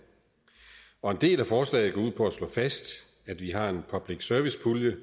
og en del af forslaget går ud på at slå fast at vi har en public service pulje